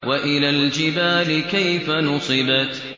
وَإِلَى الْجِبَالِ كَيْفَ نُصِبَتْ